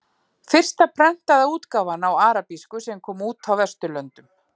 Fyrsta prentaða útgáfan á arabísku sem kom út á Vesturlöndum.